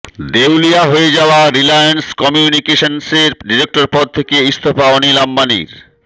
দেউলিয়া হয়ে যাওয়া রিলায়্যান্স কমিউনিকেশন্সের ডিরেক্টর পদ থেকে ইস্তফা অনিল অম্বানীর